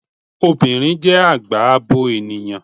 Obìnrin jẹ́ àgbà abo ènìyàn